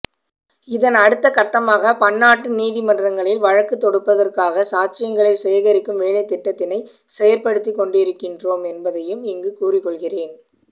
இதன் அடுத்த கட்டமாக பன்னாட்டு நீதிமன்றங்களில் வழக்கு தொடுப்பதற்காக சாட்சியங்களை சேகரிக்கும் வேலைத்திட்டத்தினை செயற்படுத்திக்கொண்டிருக்கின்றோம் என்பதையும் இங்கு கூறிக்கொள்கின்றேன்